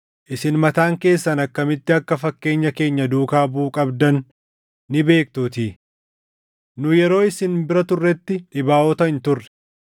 Isin mataan keessan akkamitti akka fakkeenya keenya duukaa buʼuu qabdan ni beektuutii. Nu yeroo isin bira turretti dhibaaʼota hin turre;